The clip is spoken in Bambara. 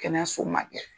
Kɛnɛyaso ma kɛ